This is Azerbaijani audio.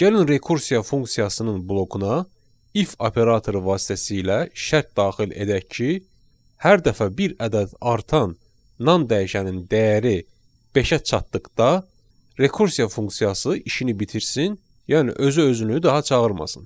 Gəlin rekursiya funksiyasının blokuna if operatoru vasitəsilə şərt daxil edək ki, hər dəfə bir ədəd artan nam dəyişənin dəyəri beşə çatdıqda rekursiya funksiyası işini bitirsin, yəni özü özünü daha çağırmasın.